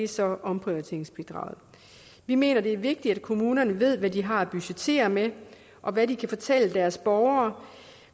så omprioriteringsbidraget vi mener det er vigtigt at kommunerne ved hvad de har at budgettere med og hvad de kan fortælle deres borgere